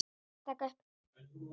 Þær eru komnar að bílnum.